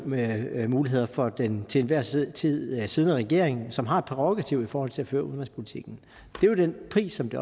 manøvremuligheder for den til enhver tid tid siddende regering som har et prærogativ i forhold til at føre udenrigspolitikken det er jo den pris som det